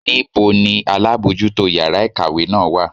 Níbo ni alábojútó yàrá ìkàwé náà wà?